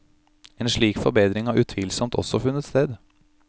En slik forbedring har utvilsomt også funnet sted.